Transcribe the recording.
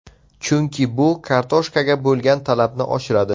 Chunki bu kartoshkaga bo‘lgan talabni oshiradi.